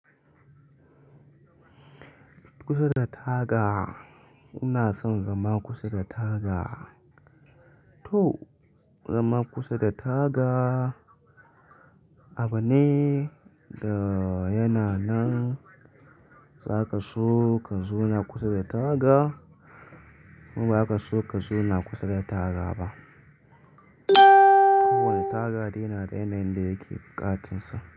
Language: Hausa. Kusa da taga, ina son zama kusa da taga. To zama kusa da taga abu ne da yana nan za ka so ka zauna kusa da taga ko ba ka so ka zauna kusa da taga ba. Kowane taga dai yana da yanayin da yake ƙatinsa.